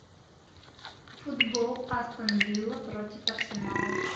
футбол астон вилла против арсенала